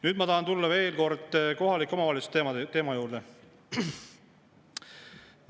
Nüüd ma tahan tulla veel kord kohalike omavalitsuste teema juurde.